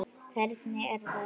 Hvernig, er það rétt?